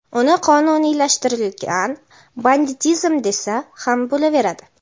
uni qonuniylashtirilgan banditizim desa ham bo‘laveradi.